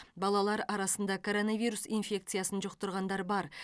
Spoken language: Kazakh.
балалар арасында коронавирус инфекциясын жұқтырғандар бар